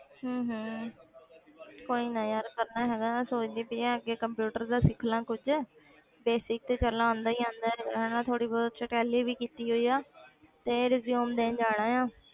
ਹਮ ਹਮ ਕੋਈ ਨਾ ਯਾਰ ਕਰਨਾ ਹੈਗਾ ਮੈਂ ਸੋਚਦੀ ਪਈ ਹਾਂ ਅੱਗੇ computer ਦਾ ਸਿੱਖ ਲਵਾਂ ਕੁੱਝ basic ਤੇ ਚੱਲ ਆਉਂਦਾ ਹੀ ਆਉਂਦਾ ਹੈਗਾ ਹਨਾ, ਥੋੜ੍ਹੀ ਬਹੁਤ ਅੱਛਾ ਪਹਿਲੇ ਵੀ ਕੀਤੀ ਹੋਈ ਆ ਤੇ resume ਦੇਣ ਜਾਣਾ ਆਂ।